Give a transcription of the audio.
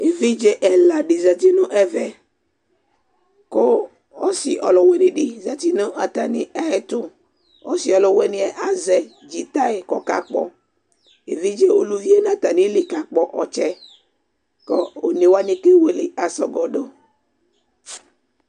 Evidze ɛla di zɛti nʋ ɛvɛ kʋ ɔsi ɔlʋwìní di zɛti nʋ atami ɛtu Ɔsi ɔlʋwìní yɛ azɛ dzitai kʋ ɔkakpɔ Evidze ʋlʋvi ye nʋ atamìli kakpɔ ɔtsɛ kʋ ɔne wani kewili asɔgɔ du